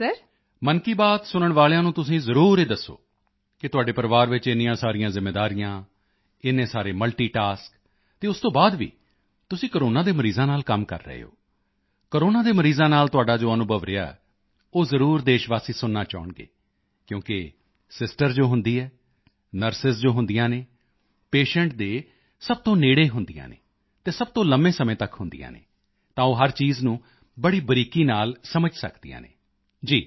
ਮਨ ਕੀ ਬਾਤ ਸੁਣਨ ਵਾਲਿਆਂ ਨੂੰ ਤੁਸੀਂ ਜ਼ਰੂਰ ਇਹ ਦੱਸੋ ਕਿ ਤੁਹਾਡੇ ਪਰਿਵਾਰ ਵਿੱਚ ਇੰਨੀਆਂ ਸਾਰੀਆਂ ਜ਼ਿੰਮੇਵਾਰੀਆਂ ਇੰਨੇ ਸਾਰੇ ਮਲਟੀਟਾਸਕ ਅਤੇ ਉਸ ਤੋਂ ਬਾਅਦ ਵੀ ਤੁਸੀਂ ਕੋਰੋਨਾ ਦੇ ਮਰੀਜ਼ਾਂ ਨਾਲ ਕੰਮ ਕਰ ਰਹੇ ਹੋ ਕੋਰੋਨਾ ਦੇ ਮਰੀਜ਼ਾਂ ਨਾਲ ਤੁਹਾਡਾ ਜੋ ਅਨੁਭਵ ਰਿਹਾ ਹੈ ਉਹ ਜ਼ਰੂਰ ਦੇਸ਼ਵਾਸੀ ਸੁਣਨਾ ਚਾਹੁਣਗੇ ਕਿਉਂਕਿ ਸਿਸਟਰ ਜੋ ਹੁੰਦੀ ਹੈ ਨਰਸ ਜੋ ਹੁੰਦੀਆਂ ਹਨ ਪੇਸ਼ੈਂਟ ਦੇ ਸਭ ਤੋਂ ਨੇੜੇ ਹੁੰਦੀਆਂ ਹਨ ਅਤੇ ਸਭ ਤੋਂ ਲੰਮੇ ਸਮੇਂ ਤੱਕ ਹੁੰਦੀਆਂ ਹਨ ਤਾਂ ਉਹ ਹਰ ਚੀਜ਼ ਨੂੰ ਬੜੀ ਬਰੀਕੀ ਨਾਲ ਸਮਝ ਸਕਦੀਆਂ ਹਨ ਜੀ ਦੱਸੋ